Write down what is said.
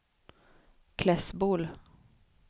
Klässbol